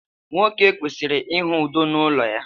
nwoke kwesịrị ịhụ udo n’ụlọ ya